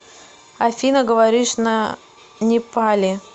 афина говоришь на непали